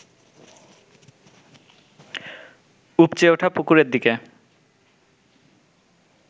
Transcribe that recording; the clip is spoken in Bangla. উপচে ওঠা পুকুরের দিকে